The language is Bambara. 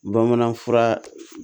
Bamanan fura